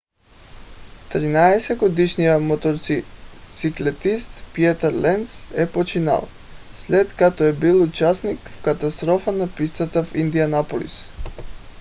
13-годишният мотоциклетист питър ленц е починал след като е бил участник в катастрофа на пистата в индианаполис